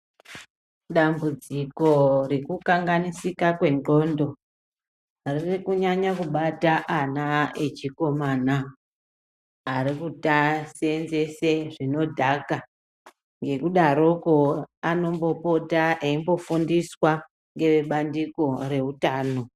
Dambudziko rekukanganisika kwendxondo riri kunyanya kubata ana echikomana arikuseenzese zvinodhaka, ngekudaroko anombopota eifundiswa ngevebandiko reutano.